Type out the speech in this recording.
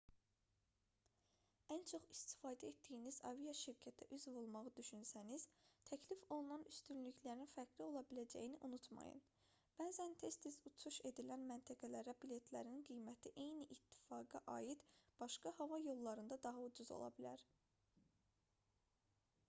ən çox istifadə etdiyiniz aviaşirkətə üzv olmağı düşünsəniz təklif olunan üstünlüklərin fərqli ola biləcəyini unutmayın bəzən tez-tez uçuş edilən məntəqələrə biletlərin qiyməti eyni ittifaqa aid başqa hava yollarında daha ucuz ola bilər